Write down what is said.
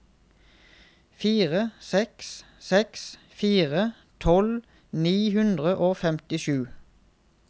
fire seks seks fire tolv ni hundre og femtisju